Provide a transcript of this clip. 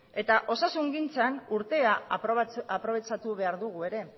eta osasungintzan urtea aprobetxatu behar dugu ere